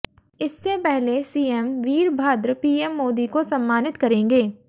इससे पहले CM Virbhadra PM Modi को सम्मानित करेंगे